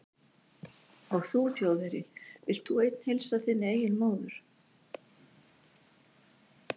Og þú Þjóðverji, vilt þú einn heilsa þinni eigin móður